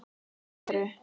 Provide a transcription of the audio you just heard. Þau eru